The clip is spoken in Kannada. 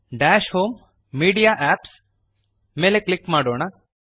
ದಶ್ ಹೋಮ್ ಮೀಡಿಯಾ ಎಪಿಪಿಎಸ್ ಮೇಲೆ ಕ್ಲಿಕ್ ಮಾಡೋಣ